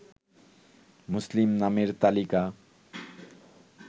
মুসলিম নামের তালিকা